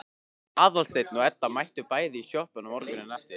Aðalsteinn og Edda mættu bæði í sjoppuna morguninn eftir.